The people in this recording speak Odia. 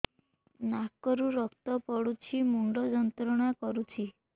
ନାକ ରୁ ରକ୍ତ ପଡ଼ୁଛି ମୁଣ୍ଡ ଯନ୍ତ୍ରଣା କରୁଛି